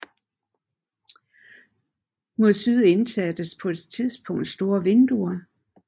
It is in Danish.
Mod syd indsattes på et tidspunkt store vinduer